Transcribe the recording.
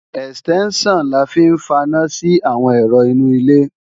Ẹ̀stẹ́ńṣàn la fi ń faná sí àwọn ẹ̀rọ inú ilé